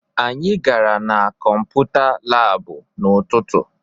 Anyị gara na kọmputa laabụ n'ụtụtụ